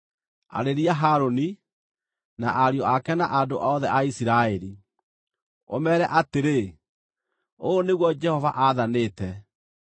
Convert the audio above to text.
“Arĩria Harũni, na ariũ ake na andũ othe a Isiraeli, ũmeere atĩrĩ: ‘Ũũ nĩguo Jehova aathanĩte: